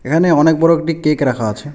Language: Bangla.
এখানে অনেক বড়ো একটি কেক রাখা আছে।